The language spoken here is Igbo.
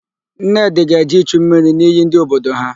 Nnedị ga-eje ichu mmiri n'iyi dị n'obodo ha.